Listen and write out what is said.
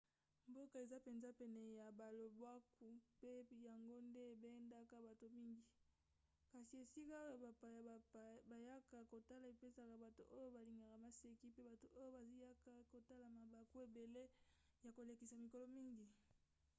mboka eza mpenza pene ya balobwaku mpe yango nde ebendaka bato mingi kasi esika oyo bapaya bayaka kotala epesaka bato oyo balingaka maseki pe bato oyo bayaka kotala mabaku ebele ya kolekisa mikolo mingi